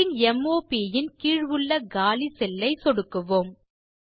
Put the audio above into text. headingm o ப் இன் கீழ் உள்ள காலி செல் ஐ சொடுக்குவோம்